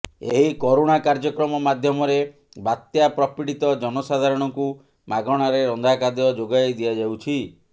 ଏହି କରୁଣା କାର୍ଯ୍ୟକ୍ରମ ମାଧ୍ୟମରେ ବାତ୍ୟା ପ୍ରପୀଡ଼ିତ ଜନସାଧାରଣଙ୍କୁ ମାଗଣାରେ ରନ୍ଧା ଖାଦ୍ୟ ଯୋଗାଇ ଦିଆଯାଉଛି